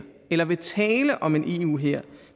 eller vil tale om en eu hær